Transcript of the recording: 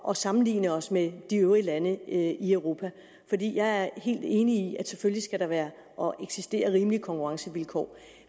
at sammenligne os med de øvrige lande i europa og jeg er helt enig i at der selvfølgelig skal være og eksistere rimelige konkurrencevilkår er